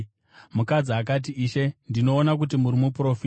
Mukadzi akati, “Ishe, ndinoona kuti muri muprofita.